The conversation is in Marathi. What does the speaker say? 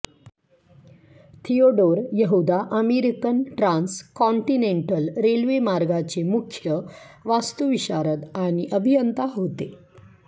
थियोडोर यहूदा अमेरिकन ट्रान्स कॉन्टिनेन्टल रेल्वेमार्गचे मुख्य वास्तुविशारद आणि अभियंता होते